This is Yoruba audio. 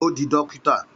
Ó di dókítà